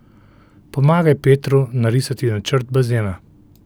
Pomagaj Petru narisati načrt bazena.